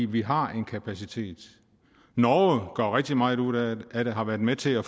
vi har en kapacitet norge gør rigtig meget ud af det og har været med til at